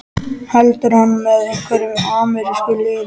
Heldur hann með einhverjum amerískum liðum?